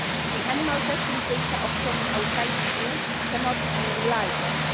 The animal testing data obtained outside the EU cannot be relied on.